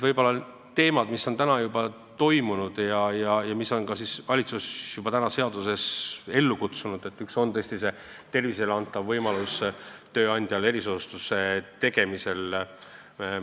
Teemadest, mis on nüüdseks juba läbi arutatud, ja muudatustest, mida valitsus on praeguseks juba seadusega ellu kutsunud, üks on tõesti see erisoodustus, tööandjale antud võimalus hüvitada töötajate tervisekulutusi.